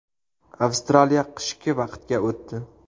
Avstraliya qishki vaqtga o‘tdi.